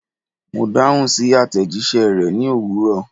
Mo dahun si atejise re ni owuro